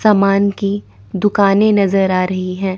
सामान की दुकाने नजर आ रही हैं।